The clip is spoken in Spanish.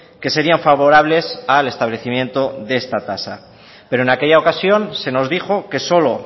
que serían favorables al establecimiento de esta tasa pero en aquella ocasión se nos dijo que solo